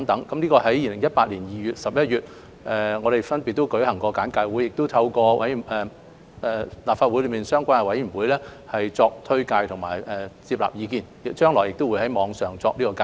我們在2018年2月和11月分別舉行過簡介會和向立法會相關委員會簡介《條例草案》和徵詢意見，將來亦會在網上作介紹。